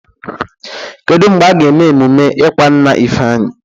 Kedụ mgbe aga eme emume ịkwa nna Ifeanyi?